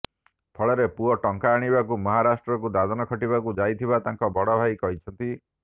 ଫଳରେ ପୁଅ ଟଙ୍କା ଆଣିବାକୁ ମହାରାଷ୍ଟ୍ରକୁ ଦାଦନ ଖଟିବାକୁ ଯାଇଥିବା ତାଙ୍କ ବଡ଼ ଭାଇ କହିଛନ୍ତି